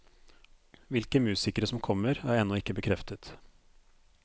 Hvilke musikere som kommer, er ennå ikke bekreftet.